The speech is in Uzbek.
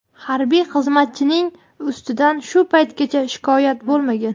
harbiy xizmatchining ustidan shu paytgacha shikoyat bo‘lmagan.